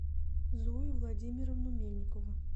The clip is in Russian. зою владимировну мельникову